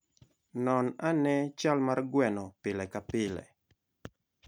Non ane chal mar gweno pile ka pile.